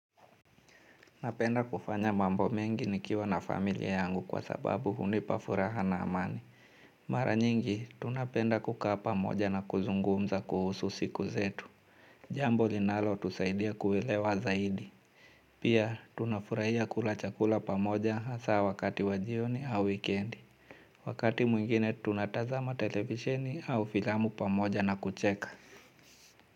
Napenda kufanya mambo mengi nikiwa na familia yangu kwa sababu hunipa furaha na amani. Mara nyingi, tunapenda kukaa pamoja na kuzungumza kuhusu siku zetu. Jambo linalo tusaidia kuelewa zaidi. Pia, tunafurahia kula chakula pamoja hasa wakati wajioni au wikendi. Wakati mwingine, tunatazama televisheni au filamu pamoja na kucheka.